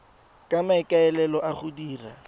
ka maikaelelo a go dira